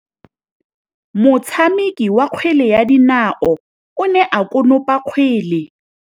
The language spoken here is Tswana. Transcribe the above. Motshameki wa kgwele ya dinaô o ne a konopa kgwele.